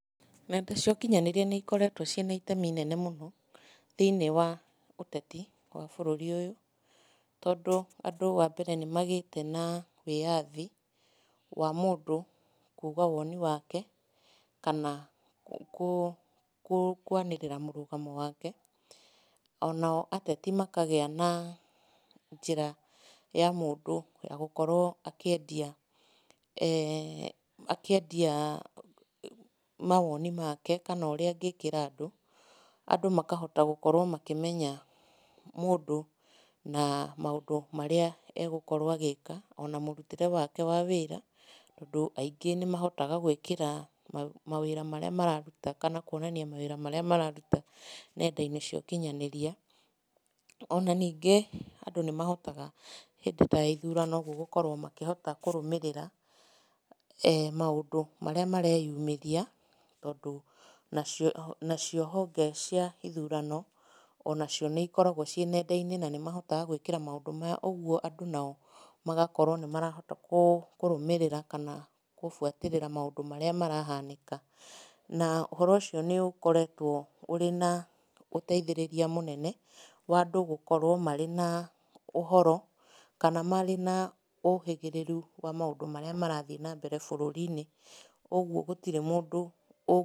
Nenda ciokinyanĩria nĩ ikoretwo cĩna itemi inene mũno, thĩinĩ wa ũteti wa bũrũri ũyũ, tondũ andũ wa mbere andũ nĩ magĩte na wĩyathi, wa mũndũ kuga woni wake, kana kũ kũ kwanĩrĩra mũrũgamo wake, onao ateti makagĩa na njĩra ya mũndũ ya gũkorwo akĩendia eeh akiendia mawoni make kana ũrĩa angĩkĩra andũ, andũ makahota gũkorwo makĩmenya mũndũ na maũndũ marĩa egũkorwo agĩka, ona mũrutĩre wake wa wĩra, tondũ aingĩ nĩmahotaga gwĩkĩra mawĩra marĩa mararuta, kana kuonania mawĩra marĩa mararuta, nenda-inĩ cia ũkinyanĩria, ona ningĩ andũ nĩ mahotaga hĩndĩ taya ithurano ũguo gũkorwo makĩhota kũrũmĩrĩra eeh maũndũ marĩa mareyumĩria, tondũ nacio nacio honge cia ithurano, onacio nĩikoragwo ciĩ nenda-inĩ na nĩ mahotaga gwĩkĩra maũndũ maya, ũguo andũ nao magakorwo nĩ marahota kũ kũrũmĩrĩra kana gũbuatĩrĩra maũndũ marĩa marahanĩka, na ũhoro ũcio nĩ ũkoretwo ũrĩ na ũteithĩrĩria mũnene, wandũ gũkorwo marĩ na ũhoro, kana marĩ na ũhĩgĩrĩru wa maũndũ marĩa marathiĩ nambere bũrũri-inĩ, ũguo gũtirĩ mũndũ ũ.